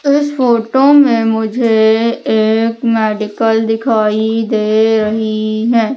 इस फोटो में मुझे एक मेडिकल दिखाई दे रही है।